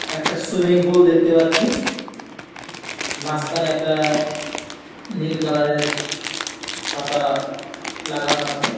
একটা swimming pool দেখতে পাচ্ছি মাসখানে একটা নীল কালার -এর ছাতা লাগানো আছে।